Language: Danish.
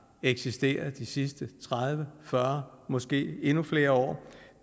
eksisteret de sidste tredive fyrre måske endnu flere år